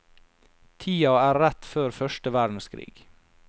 Tida er rett før første verdenskrig.